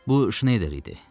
Bu Şneyder idi.